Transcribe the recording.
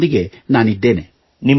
ನಿಮ್ಮೊಂದಿಗೆ ನಾನಿದ್ದೇನೆ